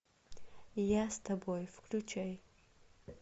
я с тобой включай